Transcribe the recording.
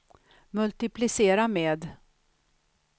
multiplicera med